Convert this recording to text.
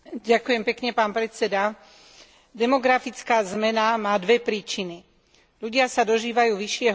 Demografická zmena má dve príčiny ľudia sa dožívajú vyššieho veku a detí sa rodí málo.